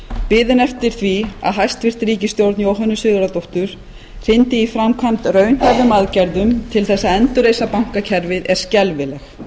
biðin eftir því að hæstvirt ríkisstjórn jóhönnu sigurðardóttur hrindi í framkvæmd raunhæfum aðgerðum til þess að endurreisa bankakerfið er skelfileg